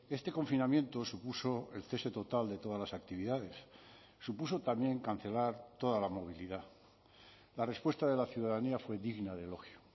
este confinamiento supuso el cese total de todas las actividades supuso también cancelar toda la movilidad la respuesta de la ciudadanía fue digna de elogio